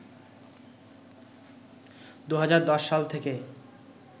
২০১০ সাল থেকে